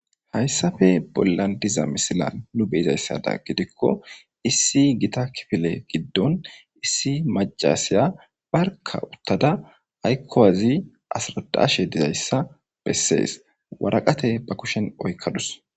hayssafe bollan diza misilan nu beyizayssada gidikko issi gita kifile giddon issi macasiya barka uttada haykkowazi asradashe dizayssa bessees waraqate ba kushen oykkadus